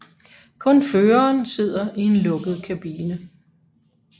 Kun føreren sidder i en lukket kabine